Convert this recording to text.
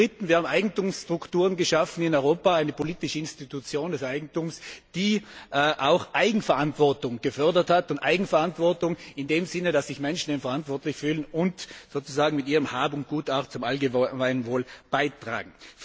Zum Dritten Wir haben in Europa Eigentumsstrukturen geschaffen, eine politische Institution des Eigentums, die auch Eigenverantwortung gefördert hat und Eigenverantwortung in dem Sinne, dass Menschen sich verantwortlich fühlen und sozusagen mit ihrem Hab und Gut auch zum allgemeinen Wohl beitragen.